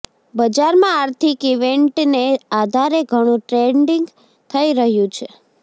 બજારમાં આર્થિક ઇવેન્ટને આધારે ઘણું ટ્રેડિંગ થઈ રહ્યું છે